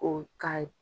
O k'a ye